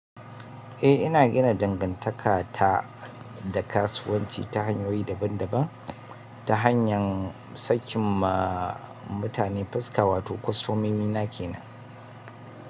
Eh, ina gina dangantaka ta da kasuwanci ta hanyoyi daban-daban ta hanyar sakin ma matane fuska, wato kostomomi na kenan.